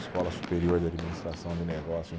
Escola Superior de Administração de Negócios, em